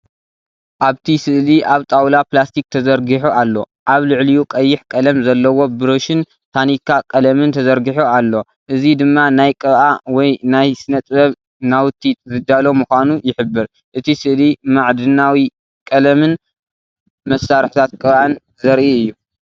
ኣብቲ ስእሊ ኣብ ጣውላ ፕላስቲክ ተዘርጊሑ ኣሎ። ኣብ ልዕሊኡ ቀይሕ ቀለም ዘለዎ ብራሽን ታኒካ ቀለምን ተዘርጊሑ ኣሎ። እዚ ድማ ናይ ቅብኣ ወይ ናይ ስነ-ጥበብ ናውቲ ዝዳሎ ምዃኑ ይሕብር። እቲ ስእሊ ማዕድናዊ ቀለምን መሳርሒታት ቅብኣን ዘርኢ እዩ።